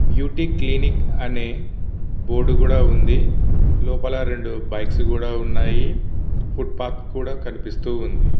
Beauty clinic అని board కూడా వుంది లోపల రెండు బైక్ కూడా ఉన్నై ఫూత్పత్ కూడా కనిపిస్తుంది.